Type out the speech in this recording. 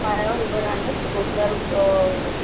पायावर उभा राहण्यास रोजगार अ